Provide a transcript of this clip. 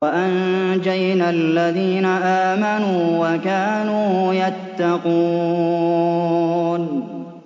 وَأَنجَيْنَا الَّذِينَ آمَنُوا وَكَانُوا يَتَّقُونَ